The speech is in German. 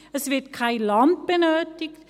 Es wird kein Land benötigt.